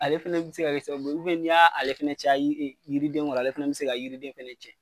Ale fɛnɛ bi se ka sababu ye n'i y'a ale fɛnɛ caya yiri yiriden ŋɔrɔ ale fɛnɛ bi se ka yiriden fɛnɛ cɛn.